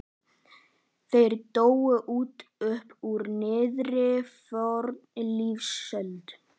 Þeir dóu út upp úr miðri fornlífsöld.